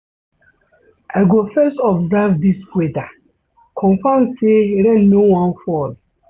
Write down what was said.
I go first observe dis weather, confirm sey rain no wan fall.